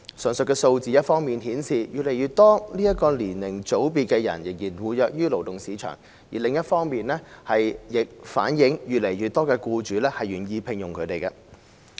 上述數字一方面顯示越來越多這個年齡組別的人士仍活躍於勞動市場，另一方面亦反映越來越多僱主願意聘用他們。